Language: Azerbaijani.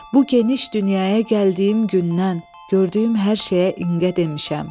Bu geniş dünyaya gəldiyim gündən, gördüyüm hər şeyə inqə demişəm.